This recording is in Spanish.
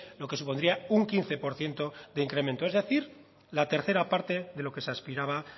lo que supondría un quince por ciento de incremento es decir la tercera parte de lo que se aspiraba